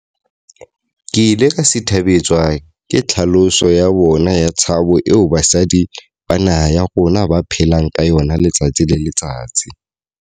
Ke ile ka sithabetswa ke tlhaloso ya bona ya tshabo eo basadi ba naha ya rona ba phelang ka yona letsatsi le letsatsi.